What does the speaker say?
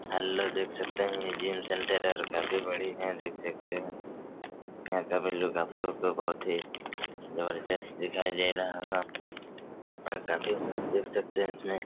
Hello देख सकते हैं ये जिम सेन्टर और काफी बड़ी है देख सकते हैं यहाँ का लुक भी आप लोगो को बहोत ही जबरजस्त दिखाई दे रहा होगा और काफी मूव देख सकते हैं इसमें ।